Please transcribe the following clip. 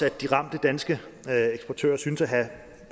at de ramte danske eksportører synes at have